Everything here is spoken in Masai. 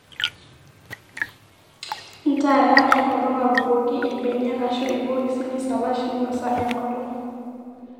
ntaara enkolong abukoki irbeniak aashu irbokisi nisalaash minosa enkolong